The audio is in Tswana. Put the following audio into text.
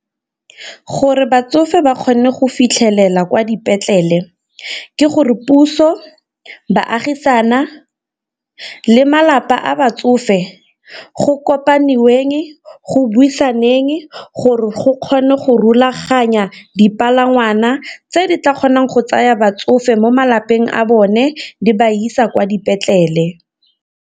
Gore batsofe ba kgone go fitlhelela kwa dipetlele ke gore puso, baagisane le malapa a batsofe go kopaniweng, go buisanweng gore go kgone go rulaganya dipalangwana tse di tla kgonang go tsaya batsofe mo malapeng a bone di ba isa kwa dipetlele.